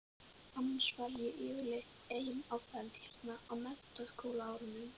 Annars var ég yfirleitt ein á ferð hér á menntaskólaárunum.